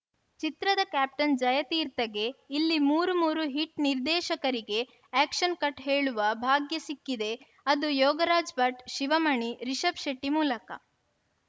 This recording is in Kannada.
ಚಿತ್ರದ ಕ್ಯಾಪ್ಟನ್‌ ಜಯತೀರ್ಥಗೆ ಇಲ್ಲಿ ಮೂರು ಮೂರು ಹಿಟ್‌ ನಿರ್ದೇಶಕರಿಗೇ ಆಕ್ಷನ್‌ ಕಟ್‌ ಹೇಳುವ ಭಾಗ್ಯ ಸಿಕ್ಕಿದೆ ಅದು ಯೋಗರಾಜ್‌ ಭಟ್‌ ಶಿವಮಣಿ ರಿಷಬ್‌ ಶೆಟ್ಟಿಮೂಲಕ